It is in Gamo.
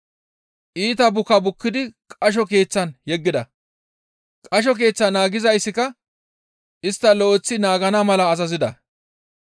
Iita buka bukkidi qasho keeththan yeggida; qasho keeththaa naagizayssika istta lo7eththi naagana mala azazida.